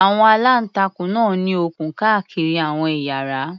Àwọn aláǹtakùn náà ní okùn káàkiri àwọn ìyára.